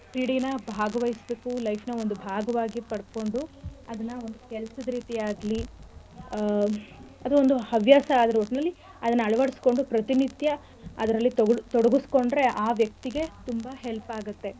ಕ್ರೀಡೆನ ಭಾಗವಹಿಸ್ಬೇಕು life ನ ಒಂದು ಭಾಗವಾಗಿ ಪಡ್ಕೊಂಡು ಅದ್ನ ಒಂದು ಕೆಲ್ಸದ್ ರೀತಿ ಆಗ್ಲಿ ಆಹ್ ಅದು ಒಂದು ಹವ್ಯಾಸ ಅದು ಒಟ್ನಲ್ಲಿ ಅದ್ನ ಅಳ್ವಡಿಸ್ಕೊಂಡು ಪ್ರತಿನಿತ್ಯ ಅದ್ರಲ್ಲಿ ತೊಗುಡ್~ ತೊಡಗುಸ್ಕೊಂಡ್ರೆ ಆ ವ್ಯಕ್ತಿಗೆ ತುಂಬಾ help ಆಗತ್ತೆ.